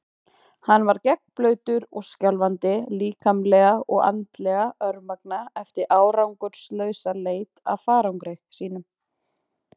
Hann var gegnblautur og skjálfandi, líkamlega og andlega örmagna eftir árangurslausa leit að farangri sínum.